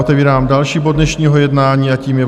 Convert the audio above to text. Otevírám další bod dnešního jednání a tím je